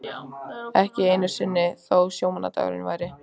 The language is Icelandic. Ekki einu sinni þó sjómannadagur væri.